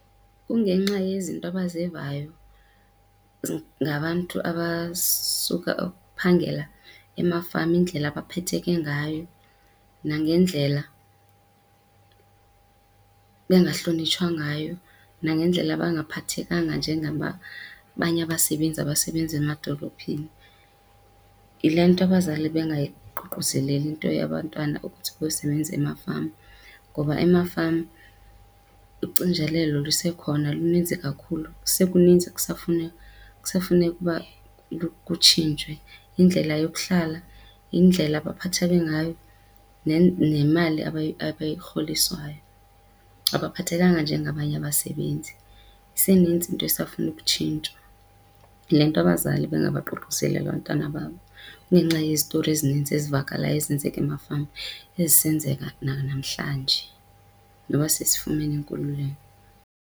Kungenxa yezinto abazivayo ngabantu abasuka uphangela emafama, indlela abaphetheke ngayo nangendlela bengahlonitshwa ngayo nangendlela abangaphathekanga njengabanye abasebenzi abasebenza amadolophini. Yile nto abazali bengayiququzeleli into yabantwana ukuthi bayosebenza emafama ngoba emafama ucinzelelo lusekhona luninzi kakhulu. Kusekuninzi ekusafuneka uba kutshintshwe, indlela yokuhlala, indlela abaphatheke ngayo nemali abayirholiswayo. Abaphathekanga njengabanye abasebenzi, iseninzi into esafuna ukutshintshwa. Yile nto abazali bengabaququseli abantwana babo kungenxa yezitori ezininzi ezivakalayo ezenzeka emafama, ezisenzeka nanamhlanje noba sesifumene inkululeko.